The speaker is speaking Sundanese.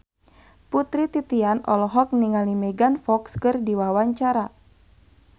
Putri Titian olohok ningali Megan Fox keur diwawancara